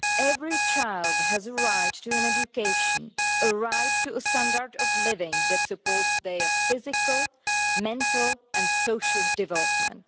Every child has a right to an education, a right to a standard of living that supports their physical, mental, and social development.